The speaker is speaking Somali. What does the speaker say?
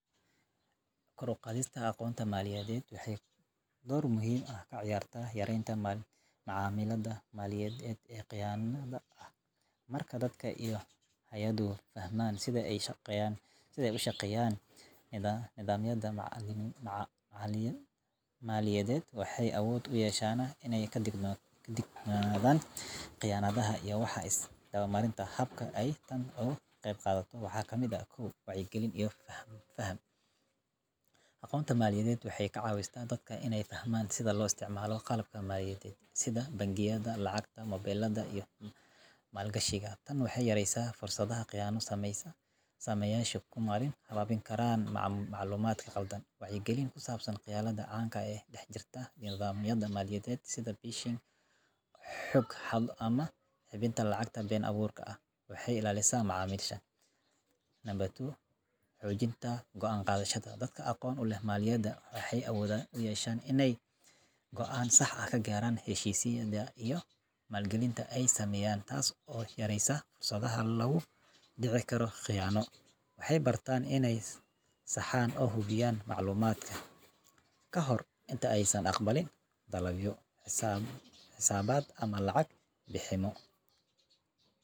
Kor u qaadista aqoonta maaliyadeed waxay door muhiim ah ka ciyaartaa yareynta macaamillada maaliyadeed ee khiyaanada ah. Marka dadka iyo hay'aduhu fahmaan sida ay u shaqeeyaan nidaamyada maaliyadeed, waxay awood u yeeshaan inay ka digtoonaadaan khiyaanada iyo wax isdabamarinta. Hababka ay tani uga qayb qaadato waxaa ka mid ah: --- 1. Wacyigelin iyo Faham: Aqoonta maaliyadeed waxay ka caawisaa dadka inay fahmaan sida loo isticmaalo qalabka maaliyadeed, sida bangiyada, lacagta mobilada, iyo maalgashiga. Tani waxay yareysaa fursadaha khiyaano sameeyayaashu ku marin habaabi karaan macluumaadka khaldan. Wacyigelin ku saabsan khiyaanada caanka ah ee ka dhex jirta nidaamyada maaliyadeed (sida phishing, xog-xado, ama bixinta lacagta been-abuurka ah) waxay ilaalisaa macaamiisha. --- 2. Xoojinta Go'aan Qaadashada: Dadka aqoon u leh maaliyadda waxay awood u yeeshaan inay go'aan sax ah ka gaaraan heshiisyada iyo maalgelinta ay sameynayaan, taas oo yareyneysa fursadaha lagu dhici karo khiyaano. Waxay bartaan inay saxaan oo hubiyaan macluumaadka ka hor inta aysan aqbalin dalabyo, xisaabaad, ama lacag bixinno.